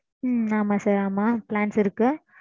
ம்ம். ஆமாம் sir ஆமாம். plans இருக்கு.